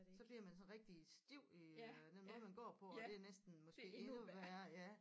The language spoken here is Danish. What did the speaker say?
Så bliver man sådan rigtig stiv i øh den måde man går på og det er næsten måske endnu værre ja